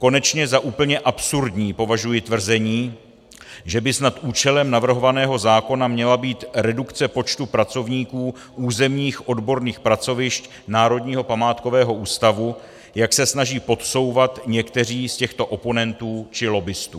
Konečně za úplně absurdní považuji tvrzení, že by snad účelem navrhovaného zákona měla být redukce počtu pracovníků územních odborných pracovišť Národního památkového ústavu, jak se snaží podsouvat někteří z těchto oponentů či lobbistů.